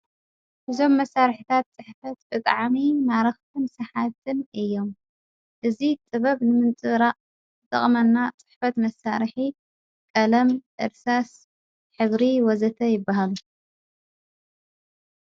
ብዞም መሣርሕታት ጽሕበት ብጥዓሚ ማረኽትም ሰሓትም እዮም እዝ ጥበብ ንምንፂራእ ዘቕመና ጽሕበት መሳርሕ ቀለም ዕርሳስ ኂብሪ ወዘተ ይበሃል።